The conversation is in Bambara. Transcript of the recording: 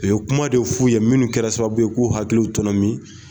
O ye kuma de f'u ye minnu kɛra sababu ye k'u hakiliw tɔnɔmin.